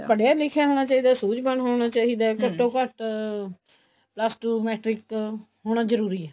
ਪੜ੍ਹਿਆ ਲਿੱਖਿਆ ਹੋਣਾ ਚਾਹੀਦਾ ਹੈ ਸੂਝਵਾਨ ਹੋਣਾ ਚਾਹੀਦਾ ਹੈ ਘੱਟੋ ਘੱਟ plus two matrix ਹੋਣਾ ਜਰੂਰੀ ਏ